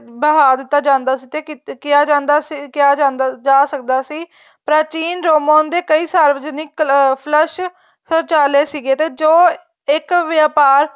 ਬਹਾਹ ਦਿੱਤਾ ਜਾਂਦਾ ਸੀ ਤੇ ਕਿਹਾ ਜਾਂਦਾ ਕਿਹਾ ਜਾਂਦਾ ਜਾ ਸਕਦਾ ਸੀ ਪ੍ਰਾਚੀਨ ਦੇ ਰੋਮਨ ਦੇ ਕਈ ਸਰਵਜਨਿਕ ਫ਼ਲੱਸ਼ ਸੋਚਾਲਹ ਸੀਗੇ ਜੋ ਇੱਕ ਵੇਪਾਰ